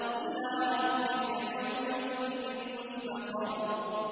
إِلَىٰ رَبِّكَ يَوْمَئِذٍ الْمُسْتَقَرُّ